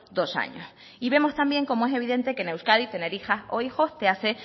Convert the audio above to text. dos años y vemos también como es evidente que en euskadi tener hijas o hijos te hace